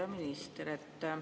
Hea minister!